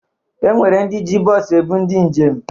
E nwere ndị ji bọs ebụ ndị njem.